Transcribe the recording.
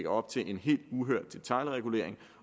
op til en helt uhørt detailregulering